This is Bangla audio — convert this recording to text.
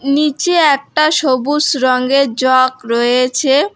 নিচে একটা সবুজ রংয়ের জগ রয়েছে।